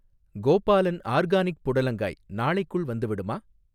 Gopalan organic புடலங்காய் நாளைக்குள் வந்துவிடுமா?